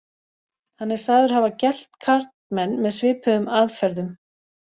Hann er sagður hafa gelt karlmenn með svipuðum aðferðum.